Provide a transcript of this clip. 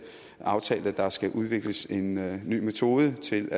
aftalt at der skal udvikles en ny metode til